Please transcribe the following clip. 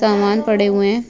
समान पड़े हुए है।